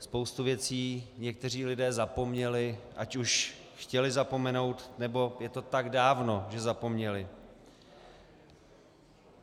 Spoustu věcí někteří lidé zapomněli, ať už chtěli zapomenout, nebo je to tak dávno, že zapomněli.